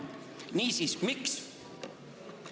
Niisiis, miks?